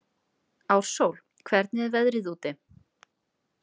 Ársól, hvernig er veðrið úti?